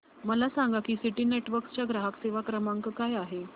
मला सांगा की सिटी नेटवर्क्स चा ग्राहक सेवा क्रमांक काय आहे